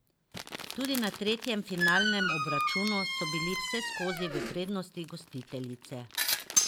Tudi na tretjem finalnem obračunu so bili vseskozi v prednosti gostiteljice.